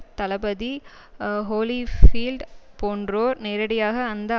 தளபதி Holyfield போன்றோர் நேரடியாக அந்த